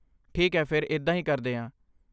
ਠੀਕ ਹੈ ਫਿਰ ਇੱਦਾਂ ਹੀ ਕਰਦੇ ਹਾਂ।